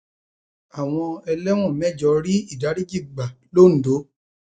àwọn ẹlẹwọn mẹjọ rí ìdáríjì gbà londo